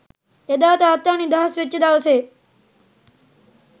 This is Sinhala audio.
එදා තාත්තා නිදහස් වෙච්ච දවසේ